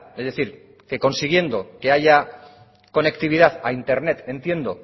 es decir que consiguiendo que haya conectividad a internet entiendo